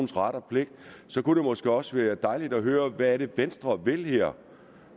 ret og pligt kunne det måske også være dejligt at høre hvad det venstre vil her